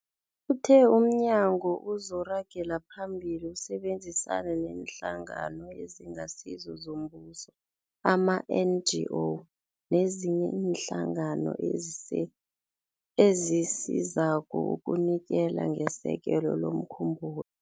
Uthe umnyagwakhe uzoragela phambili usebenzisane neeNhlangano eziNgasizo zoMbuso, ama-NGO, nezinye iinhlangano ezise ezisizako ukunikela ngesekelo lomkhumbulo.